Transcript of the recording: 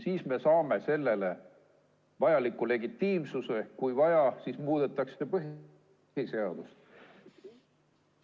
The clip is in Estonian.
Siis me saaksime sellele vajaliku legitiimsuse ja kui vaja, siis muudetakse põhiseadust.